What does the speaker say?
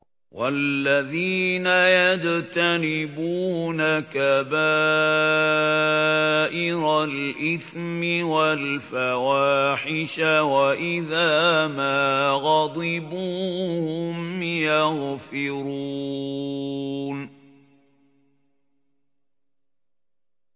وَالَّذِينَ يَجْتَنِبُونَ كَبَائِرَ الْإِثْمِ وَالْفَوَاحِشَ وَإِذَا مَا غَضِبُوا هُمْ يَغْفِرُونَ